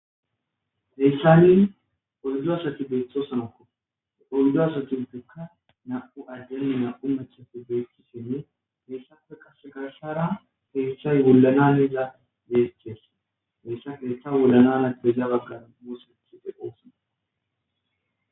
Heessa ni oldo asati beeththo sanakko oldo asatinpekka na7u ajjanni na7u machafu deethissinne geessafe qase garsara keessay wollana neza deethessi beyssa geetha wollana napeza baggara moslethi de qoosona.